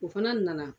O fana nana